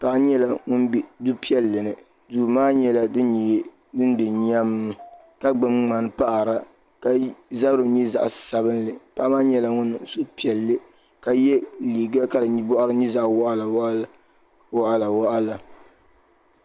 paɣa nyɛla ŋun be du piɛli ni duu maa nyɛla din be nyam ka gnubi mŋani n paɣara ka zabri nyɛ zaɣi sabinli paɣa maa nyɛla ŋun niŋ suhupiiɛl ka yɛ liga ka di boɣari nyɛ zaɣa waɣala waɣala.